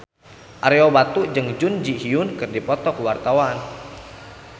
Ario Batu jeung Jun Ji Hyun keur dipoto ku wartawan